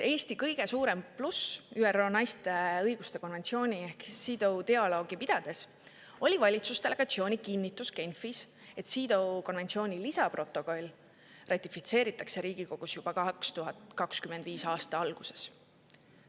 Eesti kõige suurem pluss ÜRO naiste õiguste konventsiooni ehk CEDAW dialoogi pidades oli valitsusdelegatsiooni kinnitus Genfis, et CEDAW konventsiooni lisaprotokoll ratifitseeritakse Riigikogus juba 2025. aasta alguses.